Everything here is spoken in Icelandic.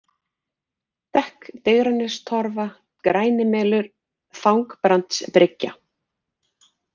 Dekk, Digranestorfur, Grænimelur, Þangbrandsbryggja